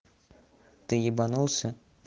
ты ебанулся